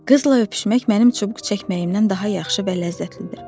Qızla öpüşmək mənim çubuq çəkməyimdən daha yaxşı və ləzzətlidir.